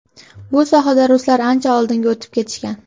Bu sohada ruslar ancha oldinga o‘tib ketishgan.